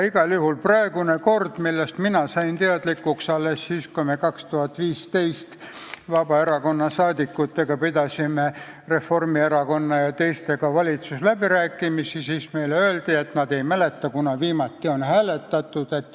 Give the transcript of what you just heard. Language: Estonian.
Praegusest korrast sain mina teadlikuks siis, kui 2015. aastal Vabaerakonna liikmed pidasid Reformierakonna ja teistega valitsusläbirääkimisi ja meile öeldi, et ei mäletata, kunas viimati on valitsuses hääletatud.